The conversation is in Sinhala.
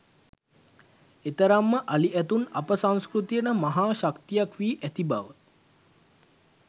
එතරම්ම අලි ඇතුන් අප සංස්කෘතියට මහා ශක්තියක් වී ඇති බව